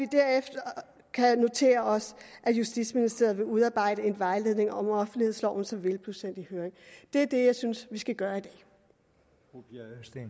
derefter notere os at justitsministeriet vil udarbejde en vejledning om offentlighedsloven som vil blive sendt i høring det er det jeg synes vi skal gøre